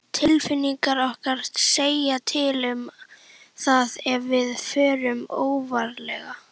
Tilfinningar okkar segja til um það ef við förum óvarlega.